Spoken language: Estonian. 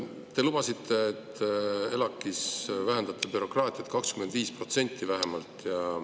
Te lubasite, et vähendate ELAK‑is bürokraatiat vähemalt 25%.